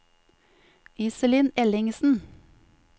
Iselin Ellingsen